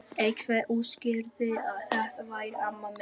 Einhver útskýrði að þetta væri amma mín.